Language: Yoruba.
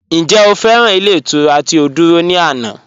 Ǹjẹ́ o fẹ́ran ilẹ̀ iturà ti o dúrọ̀ ni ànà?